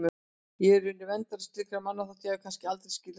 Ég er í raun verndari slíkra manna þótt ég hafi kannski aldrei skilið það sjálf.